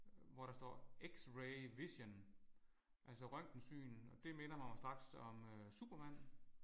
Hvor der står x-ray vision. Altså røntgensyn det minder mig jo straks om Supermand